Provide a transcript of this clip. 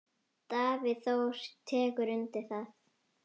Davíð Þór tekur undir það.